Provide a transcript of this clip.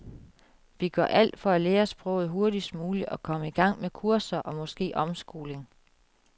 Vi gør alt for at lære sproget hurtigst muligt og komme i gang med kurser og måske omskoling.